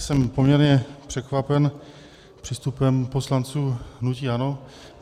Jsem poměrně překvapen přístupem poslanců hnutí ANO.